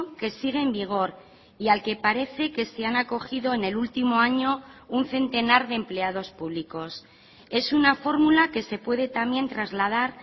que sigue en vigor y al que parece que se han acogido en el último año un centenar de empleados públicos es una fórmula que se puede también trasladar